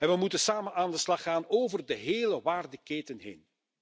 En we moeten samen aan de slag gaan over de hele waardeketen heen.